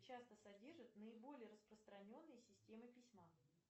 часто содержит наиболее распространенные системы письма